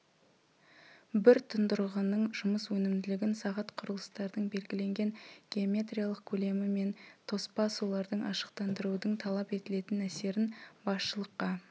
бір тұндырғының жұмыс өнімділігін сағат құрылыстардың белгіленген геометриялық көлемі мен тоспа сулардың ашықтандырудың талап етілетін әсерін басшылыққа